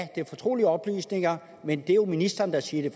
det er fortrolige oplysninger men at det jo er ministeren der siger at